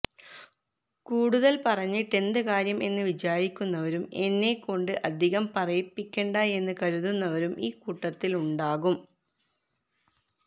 കൂടുതല് പറഞ്ഞിട്ടെന്ത് കാര്യം എന്ന് വിചാരിക്കുന്നവരും എന്നെക്കൊണ്ട് അധികം പറയിപ്പിക്കണ്ട എന്നു കരുതുന്നവരും ഇക്കൂട്ടത്തിലുണ്ടാകും